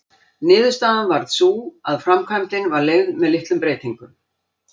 Niðurstaðan varð sú að framkvæmdin var leyfð með litlum breytingum.